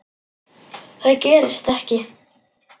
Það gerist ekki.